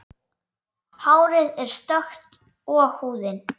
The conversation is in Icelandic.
Hárið er stökkt og húðin.